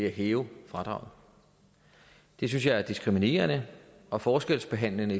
at hæve fradraget det synes jeg er diskriminerende og forskelsbehandlende